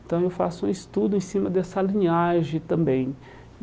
Então eu faço um estudo em cima dessa linhagem também.